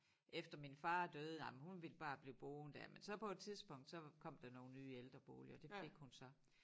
Efter min far døde ej men hun ville bare blive boende dér men så på et tidspunkt så kom der nogle nye ældreboliger det fik hun så